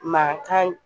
Mankan